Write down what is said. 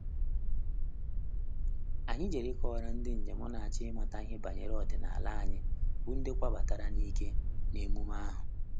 Anyị jere ịkọwara ndị njem na-achọ ịmata ihe banyere ọdịnala anyị bụ́ ndị kwoo batara n'ike nee emume ahụ.